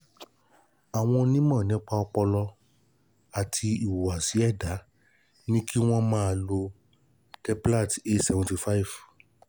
Àwọn onímọ̀ nípa ọpọlọ àti ìhùwàsí ẹ̀dá ní kí wọ́n máa lo Deplatt A seventy five